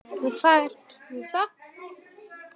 Og hvað er nú það?